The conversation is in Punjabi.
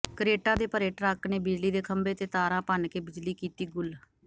ਕਰੇਟਾਂ ਦੇ ਭਰੇ ਟਰੱਕ ਨੇ ਬਿਜਲੀ ਦੇ ਖੰਬੇ ਤੇ ਤਾਰਾਂ ਭੰਨ੍ਹ ਕੇ ਬਿਜਲੀ ਕੀਤੀ ਗੁੱਲ